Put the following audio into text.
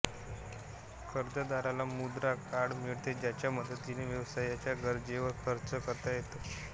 कर्जदाराला मुद्रा कार्ड मिळते ज्याच्या मदतीने व्यवसायाच्या गरजेवर खर्च करता येतो